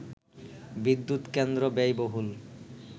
বিদ্যুৎ কেন্দ্র ব্যয়বহুল